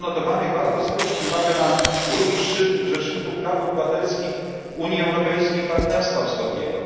Z nieodnotowanych warto zwrócić uwagę na drugi szczyt rzeczników praw obywatelskich Unii Europejskiej i Partnerstwa Wschodniego.